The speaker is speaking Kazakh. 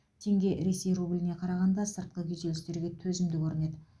теңге ресей рубліне қарағанда сыртқы күйзелістерге төзімді көрінеді